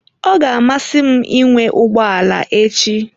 Ọ ga-amasị m ịnwe ụgbọ ala echi.